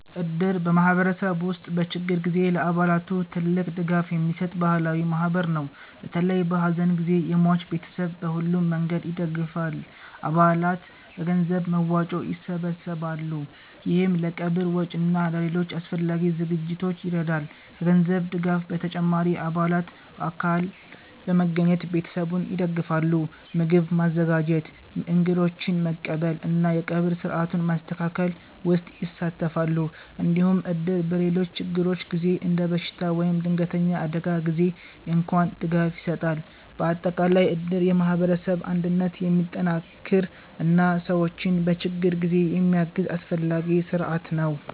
እድር በማህበረሰብ ውስጥ በችግር ጊዜ ለአባላቱ ትልቅ ድጋፍ የሚሰጥ ባህላዊ ማህበር ነው። በተለይ በሐዘን ጊዜ የሟች ቤተሰብን በሁሉም መንገድ ይደግፋል። አባላት በገንዘብ መዋጮ ይሰበሰባሉ፣ ይህም ለቀብር ወጪ እና ለሌሎች አስፈላጊ ዝግጅቶች ይረዳል። ከገንዘብ ድጋፍ በተጨማሪ አባላት በአካል በመገኘት ቤተሰቡን ይደግፋሉ። ምግብ ማዘጋጀት፣ እንግዶችን መቀበል እና የቀብር ሥርዓቱን ማስተካከል ውስጥ ይሳተፋሉ። እንዲሁም እድር በሌሎች ችግሮች ጊዜ እንደ በሽታ ወይም ድንገተኛ አደጋ ጊዜ እንኳን ድጋፍ ይሰጣል። በአጠቃላይ እድር የማህበረሰብ አንድነትን የሚጠናክር እና ሰዎችን በችግር ጊዜ የሚያግዝ አስፈላጊ ስርዓት ነው።